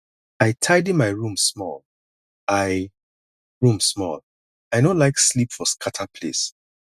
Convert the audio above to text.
i tidy my room small i room small i no like sleep for scatter place